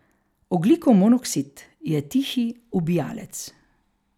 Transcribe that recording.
Ogljikov monoksid je tihi ubijalec.